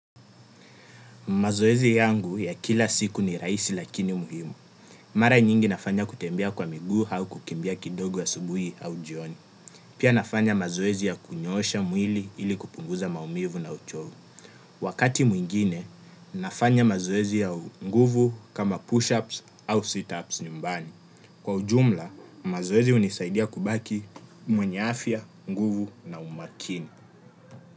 Mazoezi yangu ya kila siku ni rahisi lakini muhimu. Mara nyingi nafanya kutembea kwa miguu au kukimbia kidogo asubuhi au jioni. Pia nafanya mazoezi ya kunyosha mwili ili kupunguza maumivu na uchovu. Wakati mwingine, nafanya mazoezi ya nguvu kama push-ups au sit-ups nyumbani. Kwa ujumla, mazoezi hunisaidia kubaki mwenye afya, nguvu na umakini.